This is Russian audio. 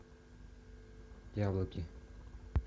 яблоки